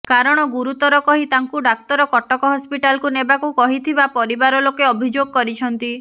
କାରଣ ଗୁରୁତର କହି ତାଙ୍କୁ ଡାକ୍ତର କଟକ ହସ୍ପିଟାଲକୁ ନେବାକୁ କହିଥିବା ପରିବାର ଲୋକେ ଅଭିଯୋଗ କରିଛନ୍ତି